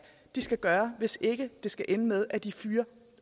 de skal gøre hvis ikke det skal ende med at de fyrer